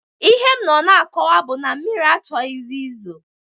Ihe m nọ na-akọwa bụ na mmiri a achọghị izo